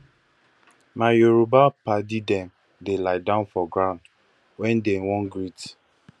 my yoruba paddy dem dey liedown for ground wen dey wan greet